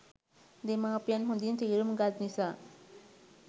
දෙමාපියන් හොඳින් තේරුම් ගත් නිසා